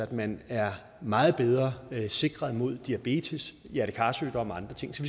man er meget bedre sikret mod diabetes hjerte kar sygdomme og andre ting så